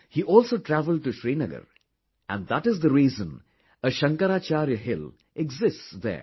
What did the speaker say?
He also traveled to Srinagar and that is the reason, a 'Shankracharya Hill' exists there